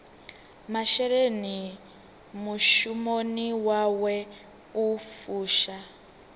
masheleni mushumoni wawe u fusha